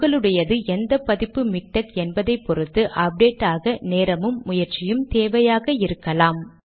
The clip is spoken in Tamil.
உங்களுடையது எந்த பதிப்பு மிக்டெக் என்பதை பொருத்து அப்டேட் ஆக நேரமும் முயற்சியும் தேவையாக இருக்கலாம்